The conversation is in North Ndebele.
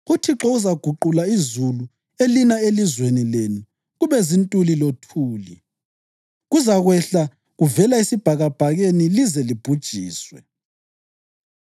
UThixo uzaguqula izulu elina elizweni lenu kube zintuli lothuli, kuzakwehla kuvela esibhakabhakeni lize libhujiswe.